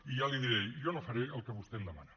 i ja l’hi diré jo no faré el que vostè em demana